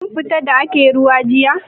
Kin fita da ake ruwa jiya?